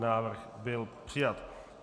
Návrh byl přijat.